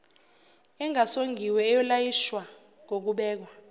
engasongiwe eyolayishwa ngokubekwa